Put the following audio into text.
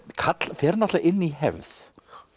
fer náttúrulega inn í hefð